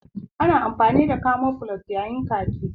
Ana amfani da camoflage yayin yaƙi